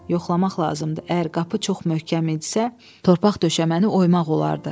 Yoxlamaq lazımdır: əgər qapı çox möhkəm idisə, torpaq döşəməni oymaq olardı.